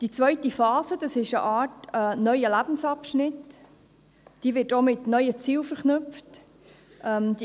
Die zweite Phase ist eine Art neuer Lebensabschnitt, der mit neuen Zielen verknüpft wird.